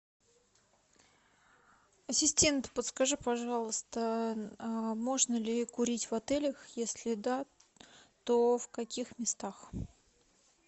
ассистент подскажи пожалуйста можно ли курить в отелях если да то в каких местах